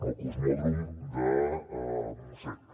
el cosmòdrom del montsec